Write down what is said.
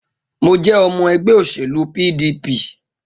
Mo jẹ́ ọmọ ẹgbẹ òṣèlú PDP